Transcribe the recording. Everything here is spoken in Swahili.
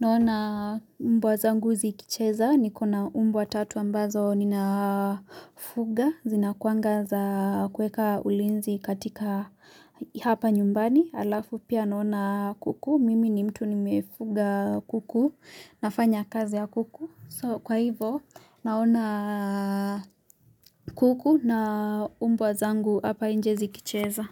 naona mbwa zangu zikicheza, niko na umbwa tatu ambazo ninafuga, zinakuanga za kuweka ulinzi katika hapa nyumbani, alafu pia naona kuku, mimi ni mtu nimefuga kuku, nafanya kazi ya kuku. So kwa hivo naona kuku na umbwa zangu hapa inje zikicheza.